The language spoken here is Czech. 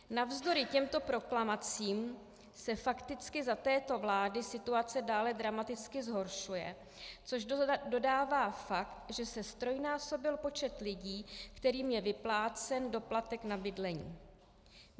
Navzdory těmto proklamacím se fakticky za této vlády situace dále dramaticky zhoršuje, což dokládá fakt, že se ztrojnásobil počet lidí, kterým je vyplácen doplatek na bydlení.